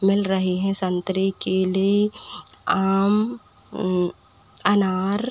मिल रहे हैं संतरे केले आम उम्म अनार।